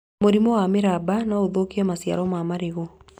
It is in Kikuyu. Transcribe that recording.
Mũrimũ wa mĩramba no ũthũkie maciaro ma marigũ